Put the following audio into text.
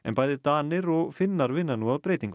bæði Danir og Finnar vinna nú að breytingum